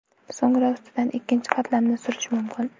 So‘ngra ustidan ikkinchi qatlamni surish mumkin.